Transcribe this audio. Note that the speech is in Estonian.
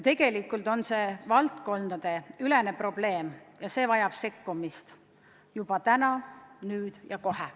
Tegelikult on see valdkondadeülene probleem, mis vajab sekkumist, juba täna, nüüd ja kohe.